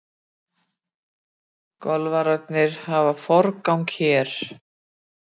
Golfararnir hafa forgang hér.